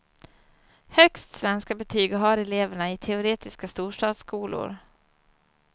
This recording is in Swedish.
Högst svenskabetyg har eleverna i teoretiska storstadsskolor.